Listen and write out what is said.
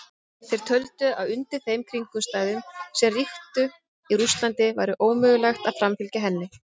Þeir töldu að undir þeim kringumstæðum sem ríktu í Rússlandi væri ómögulegt að framfylgja henni.